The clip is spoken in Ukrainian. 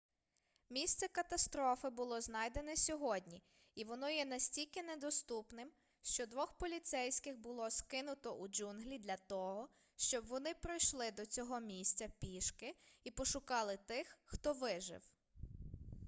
місце катастрофи було знайдене сьогодні і воно є настільки недоступним що двох поліцейських було скинуто у джунглі для того щоб вони пройшли до цього місця пішки і пошукали тих хто вижив